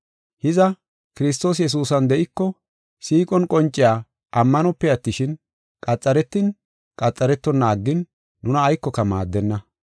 Hiza, Kiristoos Yesuusan de7iko, siiqon qonciya ammanope attishin, qaxaretin, qaxaretonna aggin nuna aykoka maaddenna.